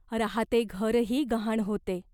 राहाते घरही गहाण होते.